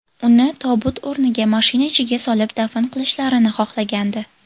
Uni tobut o‘rniga, mashina ichiga solib dafn qilishlarini xohlagandi.